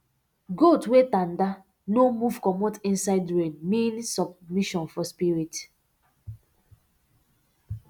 goat wey tanda no move comot inside rain mean submission for spirit